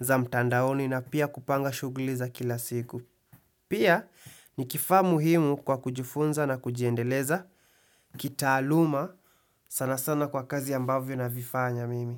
za mtandaoni na pia kupanga shughuli za kila siku. Pia ni kifaa muhimu kwa kujifunza na kujiendeleza, kitaaluma sana sana kwa kazi ambavyo na vifanya mimi.